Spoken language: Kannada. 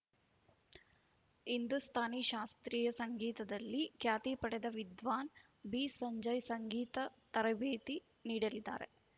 ಹಿಂದೂಸ್ಥಾನಿ ಶಾಸ್ತ್ರೀಯ ಸಂಗೀತದಲ್ಲಿ ಖ್ಯಾತಿ ಪಡೆದ ವಿದ್ವಾನ್‌ ಬಿಸಂಜಯ್‌ ಸಂಗೀತ ತರಬೇತಿ ನೀಡಲಿದ್ದಾರೆ